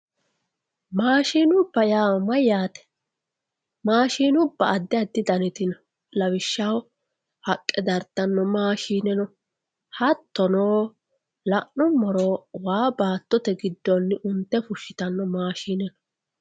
maashinubba yaa mayyaate maashinubba addi addi daniti no lawishshaho haqqa dartanno maashine no. hattono la'nummoro waa baattote giddonni unte fushshitano maashine no.